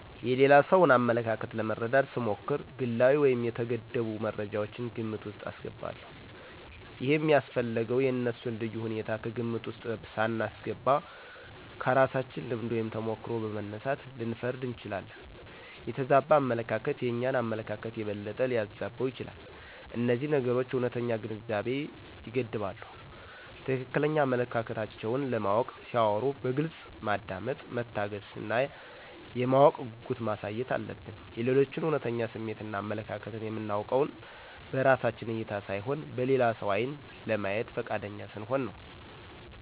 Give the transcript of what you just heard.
የሌላ ሰውን አመለካከት ለመረዳት ስሞክር ግላዊ ወይም የተገደቡ መረጃወችን ግምት ውስጥ አስገባለሁ። ይሄም ያስፈለገው የእነሱን ልዩ ሁኔታ ከግምት ውስጥ ሳናስገባ ከራሳችን ልምድ ወይም ተሞክሮ በመነሳት ልንፈርድ እንችላለን። የተዛባ አመለካከት የእኛን አመለካከት የበለጠ ሊያዛባው ይችላል። እነዚህ ነገሮች እውነተኛ ግንዛቤን ይገድባሉ። ትክክለኛ አመለካከታቸውን ለማወቅ ሲያወሩ በግልጽ ማዳመጥ፣ መታገስ እና የማወቅ ጉጉት ማሳየት አለብን። የሌሎችን እውነተኛ ስሜትን እና አመለካከትን የምናውቀውን በራሳችን እይታ ሳይሆን በሌላ ሰው ዓይን ለማየት ፈቃደኛ ስንሆን ነው።